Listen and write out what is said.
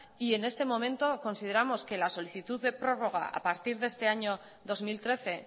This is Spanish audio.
y en este momento consideramos que la solicitud de prórroga a partir de este año dos mil trece